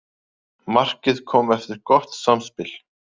Markið kom eftir gott samspil.